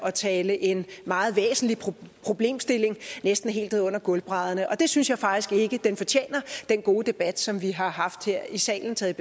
at tale en meget væsentlig problemstilling næsten helt ned under gulvbrædderne og det synes jeg faktisk ikke den fortjener den gode debat som vi har haft her i salen taget